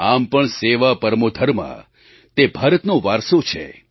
આમ પણ સેવા પરમો ધર્મઃ તે ભારતનો વારસો છે